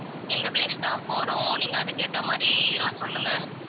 இந்த place தான் போறோம் நீங்க அதுக்கு ஏத்த மாதிரி இதெல்லாம் சொல்லுங்க